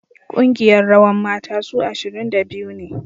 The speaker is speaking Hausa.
Kungiyar rawan mata su ashirin da biyu ne